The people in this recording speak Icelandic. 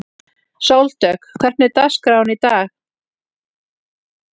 Sóldögg, hvernig er dagskráin í dag?